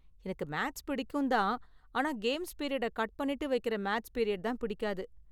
எனக்கு மேத்ஸ் பிடிக்கும் தான் ஆனா கேம்ஸ் பீரியடை கட் பண்ணிட்டு வைக்கற மேத்ஸ் பீரியட் தான் பிடிக்காது.